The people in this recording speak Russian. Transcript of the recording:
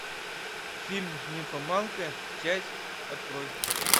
фильм нимфоманка часть открой